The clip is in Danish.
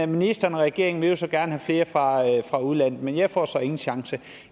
ministeren og regeringen vil jo så gerne have flere fra fra udlandet men jeg får så ingen chance